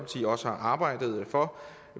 også har arbejdet for